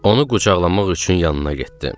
Onu qucaqlamaq üçün yanına getdim.